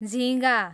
झिँगा